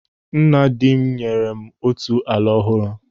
Nna dị m nyere m otu ala ọhụrụ.